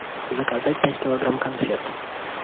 заказать пять килограмм конфет